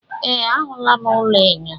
Ee, ahụla m ụlọ enyo.